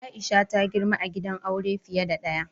Aisha ta girma a gidan aure fiye da ɗaya.